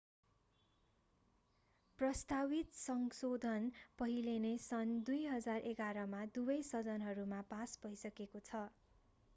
प्रस्तावित संशोधन पहिले नै सन् 2011 मा दुवै सदनहरूमा पास भइसकेको छ